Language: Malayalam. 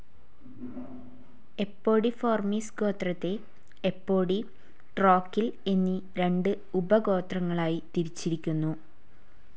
എപ്പോഡിഫോർമിസ് ഗോത്രത്തെ എപ്പോഡി, ട്രോക്കിൽ എന്നീ രണ്ട് ഉപഗോത്രങ്ങളായി തിരിച്ചിരിക്കുന്നു.